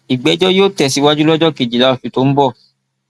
ìgbẹjọ yóò tẹsíwájú lọjọ kejìlá oṣù tó ń bọ